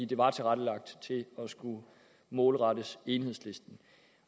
det var tilrettelagt til at skulle målrettes enhedslisten